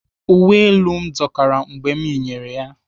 Uwe elu m dọkara mgbe m yinyere ya.